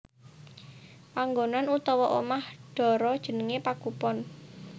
Panggonan utawa omah dara jenengé Pagupon